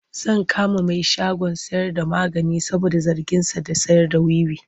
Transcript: Zan kama mai shagon sayarda magani saboda zarginsa da sayarda wiwi.